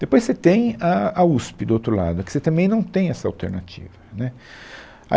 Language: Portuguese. Depois você tem a a USP, do outro lado, aqui você também não tem essa alternativa, né